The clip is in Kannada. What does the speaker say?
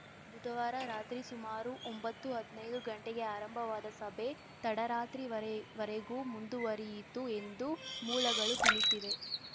ಬುಧವಾರ ರಾತ್ರಿ ಸುಮಾರು ಒಂಬತ್ತುಹದ್ನೈದು ಗಂಟೆಗೆ ಆರಂಭವಾದ ಸಭೆ ತಡರಾತ್ರಿವರೆವರೆಗೂ ಮುಂದುವರಿಯಿತು ಎಂದು ಮೂಲಗಳು ತಿಳಿಸಿವೆ